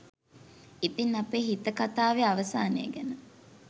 ඉතින් අපේ හිත කතාවේ අවසානය ගැන